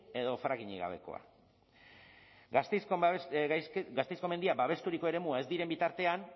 edo frackingik gabekoa gasteizko mendiak babesturiko eremua ez diren bitartean